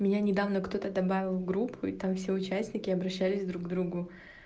меня недавно кто-то добавил в группу и там все участники обращались к друг другу